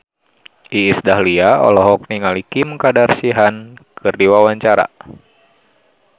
Iis Dahlia olohok ningali Kim Kardashian keur diwawancara